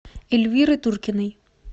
эльвиры туркиной